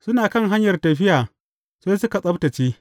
Suna kan hanyar tafiya sai suka tsabtacce.